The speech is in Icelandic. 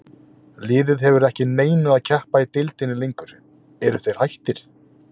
Liðið hefur ekki að neinu að keppa í deildinni lengur, eru þeir hættir?